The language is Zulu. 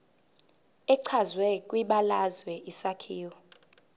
echazwe kwibalazwe isakhiwo